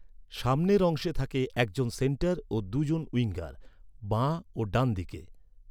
সামনের অংশে থাকে একজন সেন্টার ও দু’জন উইঙ্গার, বাঁ ও ডান দিকে।